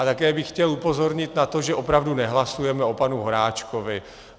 A také bych chtěl upozornit na to, že opravdu nehlasujeme o panu Horáčkovi.